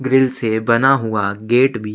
grill से बना हुआ गेट भी --